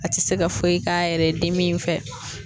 A ti se ka foyi k'a yɛrɛ ye dimi in fɛ